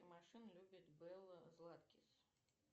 машина любит белла златкис